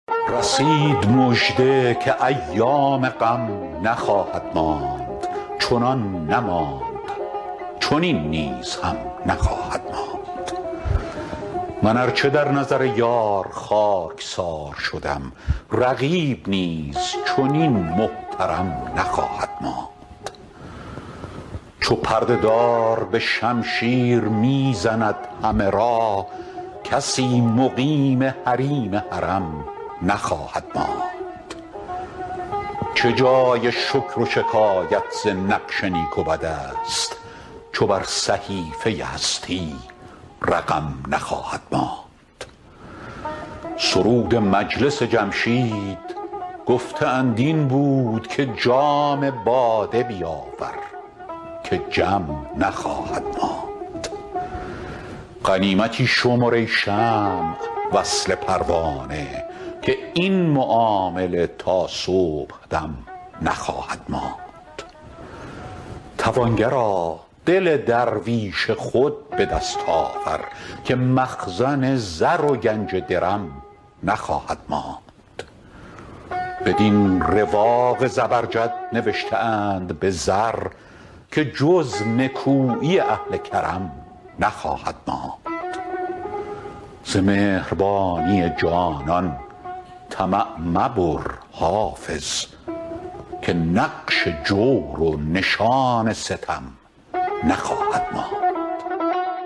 رسید مژده که ایام غم نخواهد ماند چنان نماند چنین نیز هم نخواهد ماند من ار چه در نظر یار خاک سار شدم رقیب نیز چنین محترم نخواهد ماند چو پرده دار به شمشیر می زند همه را کسی مقیم حریم حرم نخواهد ماند چه جای شکر و شکایت ز نقش نیک و بد است چو بر صحیفه هستی رقم نخواهد ماند سرود مجلس جمشید گفته اند این بود که جام باده بیاور که جم نخواهد ماند غنیمتی شمر ای شمع وصل پروانه که این معامله تا صبح دم نخواهد ماند توانگرا دل درویش خود به دست آور که مخزن زر و گنج درم نخواهد ماند بدین رواق زبرجد نوشته اند به زر که جز نکویی اهل کرم نخواهد ماند ز مهربانی جانان طمع مبر حافظ که نقش جور و نشان ستم نخواهد ماند